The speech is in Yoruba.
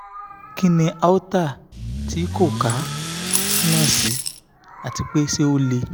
kí ni aorta tí ko kà túmọ̀ sí àti pé se ó le